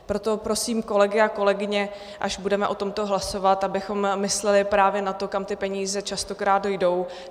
Proto prosím kolegy a kolegyně, až budeme o tomto hlasovat, abychom mysleli právě na to, kam ty peníze častokrát jdou.